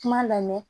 Kuma lamɛn